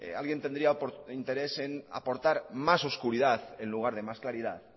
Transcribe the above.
en aportar más oscuridad en lugar de más claridad